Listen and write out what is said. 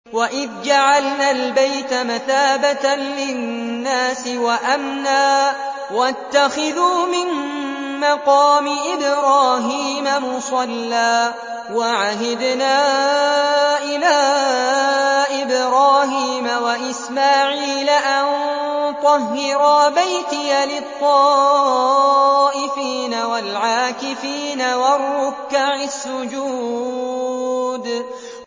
وَإِذْ جَعَلْنَا الْبَيْتَ مَثَابَةً لِّلنَّاسِ وَأَمْنًا وَاتَّخِذُوا مِن مَّقَامِ إِبْرَاهِيمَ مُصَلًّى ۖ وَعَهِدْنَا إِلَىٰ إِبْرَاهِيمَ وَإِسْمَاعِيلَ أَن طَهِّرَا بَيْتِيَ لِلطَّائِفِينَ وَالْعَاكِفِينَ وَالرُّكَّعِ السُّجُودِ